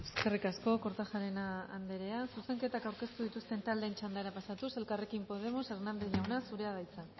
eskerrik asko kortajarena andrea zuzenketak aurkeztu dituzten taldeen txandara pasatuz elkarrekin podemos hernández jauna zurea da hitza